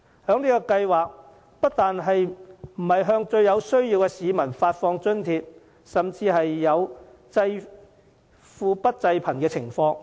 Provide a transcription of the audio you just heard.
這計劃不但沒有向最有需要的市民發放津貼，甚至出現濟富不濟貧的情況。